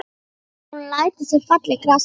Hún lætur sig falla í grasið.